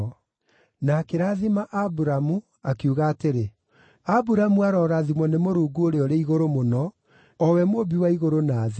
Na akĩrathima Aburamu, akiuga atĩrĩ, “Aburamu arorathimwo nĩ Mũrungu Ũrĩa-ũrĩ-Igũrũ-Mũno, o we Mũmbi wa igũrũ na thĩ.